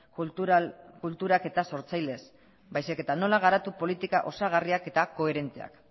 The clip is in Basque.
kultural sortzailez baizik eta nola garatu politika osagarriak eta koherenteak